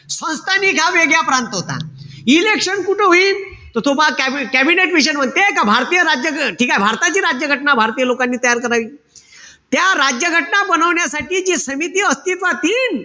संस्थानिक हा वेगळा प्रांत होता. Election कुठं होईन? कॅबिनेट मिशन म्हणजे का भारतीय राज्य ठीकेय? ठीकेय? भारताची राज्य घटना भारतीय लोकांनी तयार करावी. त्या राज्य घटना बनवण्यासाठी जी समिती अस्तित्वात येईन,